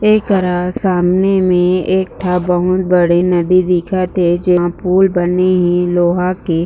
एकरा सामने में एकठा बहुत बड़ी नदी दिखत हे जेमा पूल बने हे लोहा के--